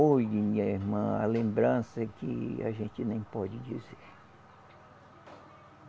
Oi, minha irmã, a lembrança que a gente nem pode dizer.